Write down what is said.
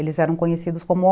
Eles eram conhecidos como